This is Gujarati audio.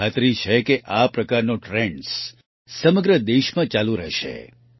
મને ખાતરી છે કે આ પ્રકારનો ટ્રેન્ડ્સ સમગ્ર દેશમાં ચાલુ રહેશે